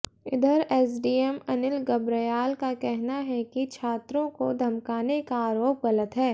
इधर एसडीएम अनिल गर्ब्याल का कहना है कि छात्रों को धमकाने का आरोप गलत है